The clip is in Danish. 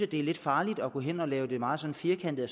det er lidt farligt at gå hen og lave det meget sådan firkantet